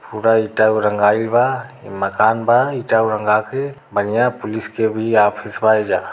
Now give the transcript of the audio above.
Mobile tower रंगाइल बा। इ मकान बा। इ टावर रंगा क बढ़िया पुलिस के भी ऑफिस बा एइजा।